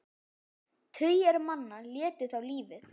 Tugir manna létu þá lífið.